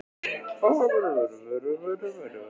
Hann var frjálslyndur í skoðunum og fylginn sér.